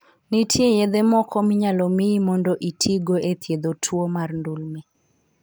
Nitie yedhe moko minyalo miyi mondo itigo e thiedho tuwo mar ndulme.